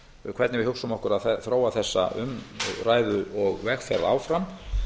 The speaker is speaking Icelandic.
hvernig við hugsum okkur að þróa þessa umræðu og vegferð áfram